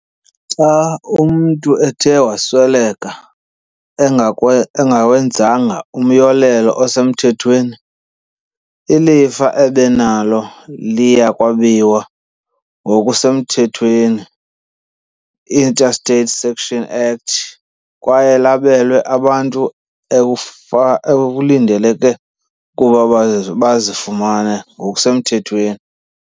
Xa umntu uthe wasweleka engawenzanga umyolelo osemthethweni, ilifa ebenalo liya kwabiwa ngokusemthethweni. i-Intestate Succession Act, kwaye labelwe abantu ekulindeleke ukuba bazifumena ngokusemthethweni.